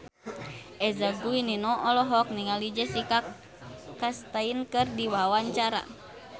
Eza Gionino olohok ningali Jessica Chastain keur diwawancara